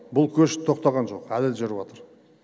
бұл көш тоқтаған жоқ әлі жүрівтыр